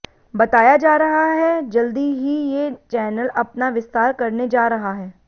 बताया जा रहा है जल्द ही ये चैनल अपना विस्तार करने जा रहा है